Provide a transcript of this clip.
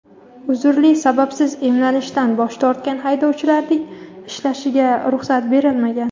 uzrli sababsiz emlanishdan bosh tortgan haydovchilarning ishlashiga ruxsat berilmagan.